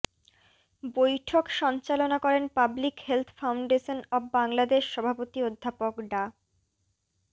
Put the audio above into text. বৈঠক সঞ্চালনা করেন public health foundation of Bangladesh সভাপতি অধ্যাপক ডা